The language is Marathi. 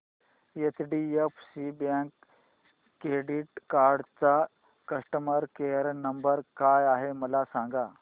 एचडीएफसी बँक क्रेडीट कार्ड चा कस्टमर केयर नंबर काय आहे मला सांगा